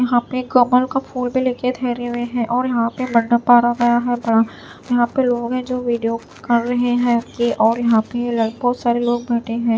यहां पे कमल का फुल भी ले के ठहरे हुए हैं और यहां पे मंडप पाड़ा गया बड़ा। यहां पे लोग है जो वीडियो कर रहे। यहां पे बहोत सारे लोग बैठे है।